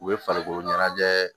U bɛ farikolo ɲɛnajɛ